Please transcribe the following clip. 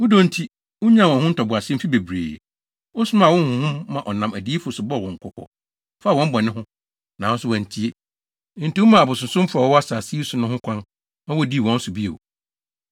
Wo dɔ nti, wunyaa wɔn ho ntoboase mfe bebree. Wosomaa wo honhom ma ɔnam adiyifo so bɔɔ wɔn kɔkɔ faa wɔn bɔne ho. Nanso wɔantie. Enti womaa abosonsomfo a wɔwɔ asase yi so no ho kwan ma wodii wɔn so bio.